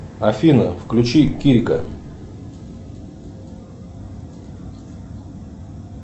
афина включи килька